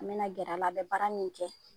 An bɛna gɛr'a la, a bɛ baara min kɛ.